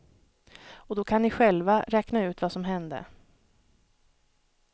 Och då kan ni själva räkna ut vad som hände.